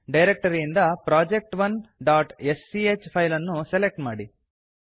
ಡೈರೆಕ್ಟರಿಯಿಂದ project1ಸ್ಚ್ ಫೈಲ್ ಅನ್ನು ಸೆಲೆಕ್ಟ್ ಮಾಡಿ